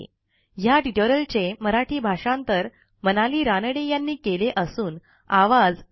ह्या ट्युटोरियलचे मराठी भाषांतर मनाली रानडे यांनी केलेले असून आवाज